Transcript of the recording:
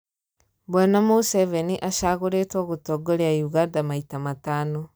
Bwana Museveni acaguritwo gũtongoria Uganda maita matano.